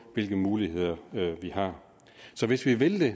hvilke muligheder vi har så hvis vi vil